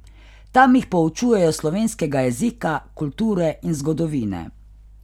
Tam jih poučujejo slovenskega jezika, kulture in zgodovine.